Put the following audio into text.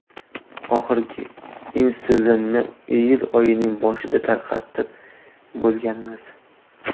Oxirgi insulinni iyul oyining boshida tarqatib bo‘lganmiz.